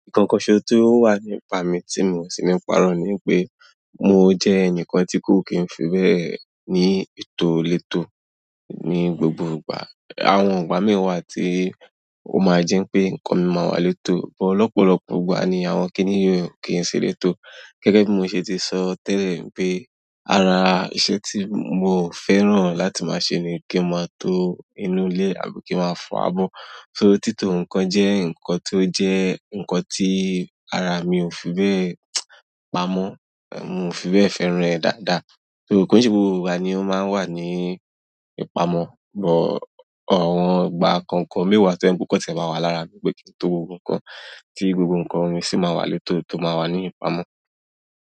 Un kanso tó wà nípa mi tí mo sì ní párọ́ ni pé mo jẹ́ ẹnìkan tí kó kì í fi bẹ́ẹ̀ ní ètò olétò ní gbogbo ìgbà. Àwọn ìgbà mìí wà tí ó máa jẹ́ pé nǹkan mi máa wà létò, bí ọ̀pọ̀lọpọ̀ ìgbà ni àwọn kíní yóò kí n ṣe elétò. Gẹ́gẹ́ bí mo ṣe ti sọ tẹ́lẹ̀ pé ara iṣẹ́ tí mò ń fẹ́ràn láti máa ṣe ni kí n máa tó inú ilé àbí kí máa fọ abọ́. So títò nǹkan jẹ́ nǹkan tó jẹ́ nǹkan tí ara mi ò fi bẹ́ẹ̀ pamọ́. Èmi ò fi bẹ́ẹ̀ fẹ́ràn rẹ̀ dáadáa. So ko ṣe gbogbo ìgbà ni ó máa ń wà ní ìpamọ́. Bọ àwọn ìgbà k'ọkan mìí wà tí o je pe o kan tiè máa wà lára mi pé kí n tó gbogbo kan tí gbogbo nǹkan mi sì máa wà létò tó máa wà ní ìpamọ́.